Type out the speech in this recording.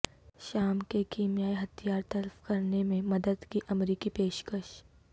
شام کے کیمیائی ہھتیار تلف کرنے میں مدد کی امریکی پیشکش